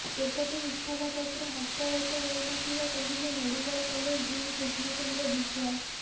ସେପଟେ ଇସ୍ତଫାପତ୍ର ହସ୍ତଗତ ହୋଇନଥିବା କହିଲେ medical college dean Krishna Chandra Biswal